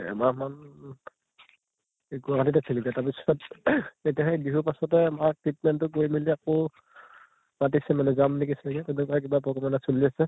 এহ এমাহ মান গুৱাহাটীত আছিলোঁগে, তাৰ পিছত এতিয়া হেই বিহুৰ পাছতে মাৰ treatment তো কৰি মেলি আকৌ মাতিছে মানে যাম নেকি চাগে তেনেকুৱাই কিবা এটা চলি আছে